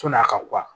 Sɔn'a ka